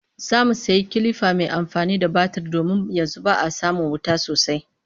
Za mu sayi kilifa mai amfani da batir domin yanzu ba a samin wuta sosai